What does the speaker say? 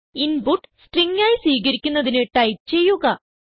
input string ആയി സ്വീകരിക്കുന്നതിന് type ചെയ്യുക